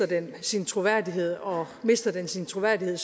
den sin troværdighed og mister den sin troværdighed